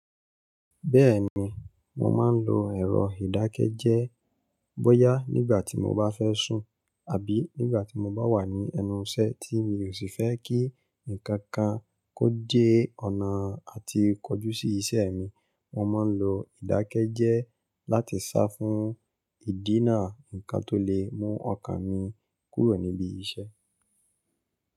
Bẹ́ẹ̀ni, mo máa ń lo ẹ̀rọ ìdákẹ́jẹ́é bóyá nígbà tí mo bá fẹ́ sùn àbí nígbà tí mo bá wà ní ẹnu ìṣẹ́ tí mi ò sì fẹ́ kí ǹkan kan kó dẹ́ ọ̀nà àti kọjú sí iṣẹ́ mi. Mo máa ń lo ìdákẹ́jẹ́ẹ́ láti sá fún ìdínà ǹkan tó lè mú ọkàn mi kúrò níbi iṣẹ́.